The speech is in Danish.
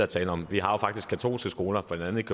tale om vi har jo faktisk katolske skoler blandt andet